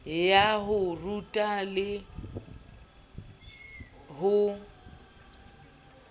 ya ho ruta le ho